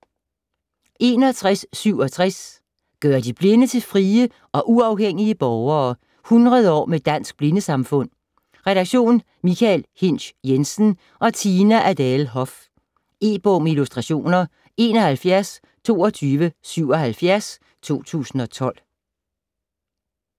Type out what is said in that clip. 61.67 ...gøre de Blinde til frie og uafhængige borgere: 100 år med Dansk Blindesamfund Redaktion: Michael Hinsch Jensen og Tina Adele Hoff. E-bog med illustrationer 712277 2012.